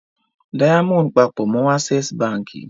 Diamond papọ̀ mọ́ Access Báńkì.